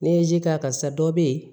Ne ye ji k'a kan sisan dɔ be yen